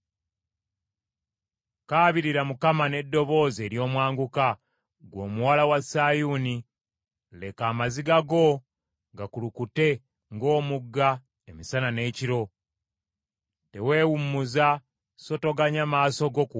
Kaabirira Mukama n’eddoboozi ery’omwanguka ggwe Omuwala wa Sayuuni. Leka amaziga go gakulukute ng’omugga emisana n’ekiro. Teweewummuza so toganya maaso go kuwummula.